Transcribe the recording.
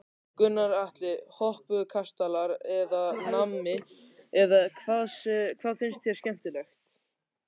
Gunnar Atli: Hoppukastalar eða nammi eða hvað finnst þér skemmtilegt?